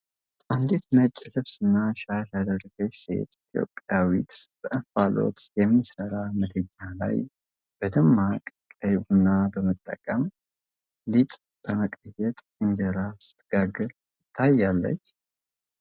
አንዲት ነጭ ልብስና ሻሽ ያደረገች ሴት ኢትዮጵያዊት፣ በእንፋሎት በሚሰራ ምድጃ ላይ በደማቅ ቀይ ኩባያ በመጠቀም፣ ሊጥ በመቀየጥ እንጀራ ስትጋግር ትታያለች?